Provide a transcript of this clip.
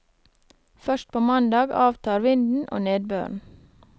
Først på mandag avtar vinden og nedbøren.